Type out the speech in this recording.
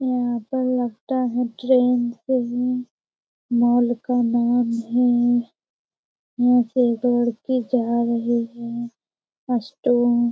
यहाँ पर लगता है ट्रैन से ही माल का नाम है यहाँ से दौड़ के जा रहे हैं उस ट्रैन --